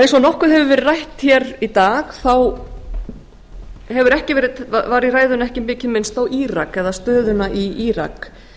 eins og nokkuð hefur verið rætt hér í dag þá var í ræðunni ekki mikið minnst á írak eða stöðuna í